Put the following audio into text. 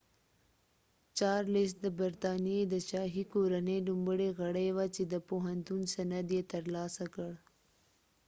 چارلس د برطانیی د شاهی کورنۍ لومړی غړی وه چی د پوهنتون سند یی تر لاسه کړ